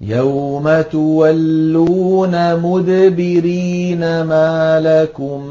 يَوْمَ تُوَلُّونَ مُدْبِرِينَ مَا لَكُم